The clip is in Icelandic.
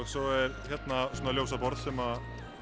svo er hérna svona ljósaborð sem